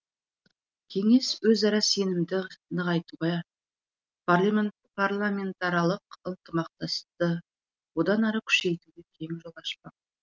кеңес өзара сенімді нығайтуға парламентаралық ынтымақтастықты одан әрі күшейтуге кең жол ашпақ